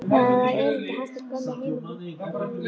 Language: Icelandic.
Það var erindi hans til gömlu heimaborgarinnar.